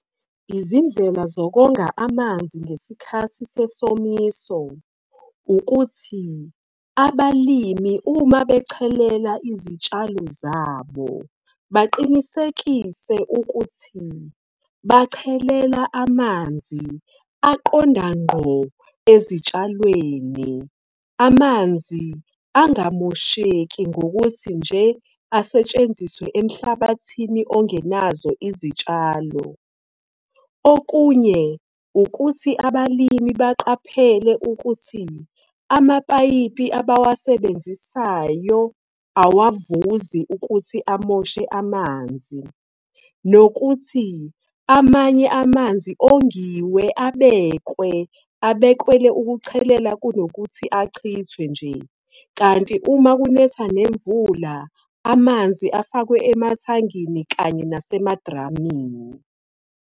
Izindlela zokonga amanzi ngesikhathi sesomiso, ukuthi abalimi uma bechelela izitshalo zabo, baqinisekise ukuthi bachelela amanzi aqonda ngqo ezitshalweni. Amanzi angamosheki ngokuthi nje asetshenziswe emhlabathini ongenazo izitshalo. Okunye ukuthi abalimi baqaphele ukuthi amapayipi abawasebenzisayo awavuzi ukuthi amoshe amanzi. Nokuthi amanye amanzi ongiwe abekwe, abekelwe ukuchelela kunokuthi achithwe nje. Kanti uma kunetha nemvula, amanzi afakwe emathangini kanye nasemadramini.